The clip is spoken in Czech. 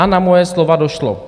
A na moje slova došlo.